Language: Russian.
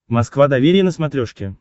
москва доверие на смотрешке